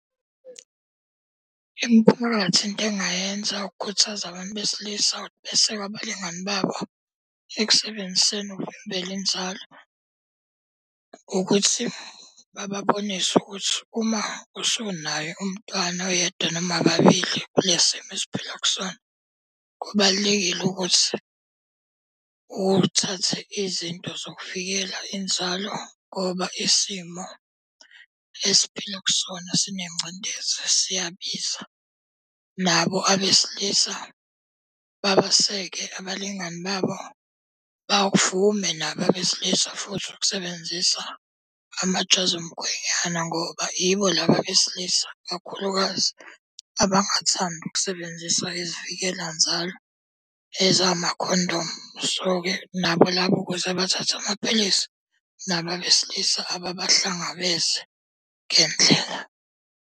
Imiphakathi into engayenza ukukhuthaza abantu besilisa ukuthi beseke abalingani babo ekusebenziseni ukuvimbela inzalo. Ukuthi bababonise ukuthi uma usunaye umntwana oyedwa noma ababili kulesi simo esiphila kusona. Kubalulekile ukuthi uthathe izinto zokuvikela inzalo ngoba isimo esiphila kusona sinengcindezi siyabiza. Nabo abesilisa babaseke abalingani babo, bavume nabo abesilisa futhi ukusebenzisa amajazi omkhwenyana. Ngoba ibo laba besilisa kakhulukazi abangathandi ukusebenzisa izivikela nzalo ezamakhondomu, so-ke nabo laba ukuze bathathe amaphilisi. Nabo abesilisa ababahlangabeze ngendlela.